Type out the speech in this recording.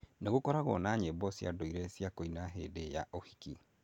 Nĩ gũkoragwo na nyĩmbo cia ndũire cia kũina hĩndĩ ya ũhiki.